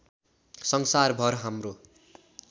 संसारभर हाम्रो